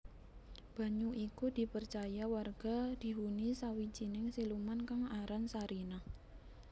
Banyu iku dipercaya warga dihuni sawijining siluman kang aran Sarinah